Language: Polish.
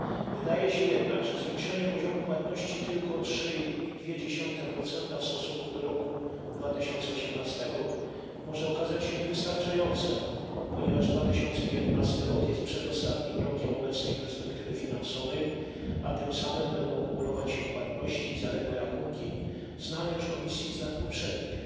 Wydaje się jednak, że zwiększenie poziomu płatności tylko o 3,2 w stosunku do roku 2018 może okazać się niewystarczające, ponieważ 2019 rok jest przedostatnim rokiem obecnej perspektywy finansowej, a tym samym będą kumulować się płatności, zaległe rachunki znane już Komisji z lat poprzednich.